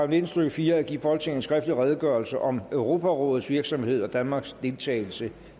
nitten stykke fire at give folketinget en skriftlig redegørelse om europarådets virksomhed og danmarks deltagelse